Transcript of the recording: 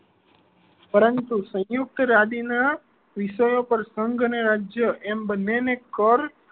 પરંતુ સંયુક્તવાદી ના વિષયો પર સંઘ અને રાજ્ય એમ બન્ને ને કર